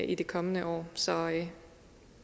i det kommende år så